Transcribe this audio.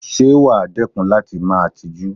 Ṣé wàá dẹ́kun láti máa tijú?